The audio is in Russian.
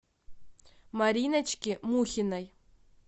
мариночки мухиной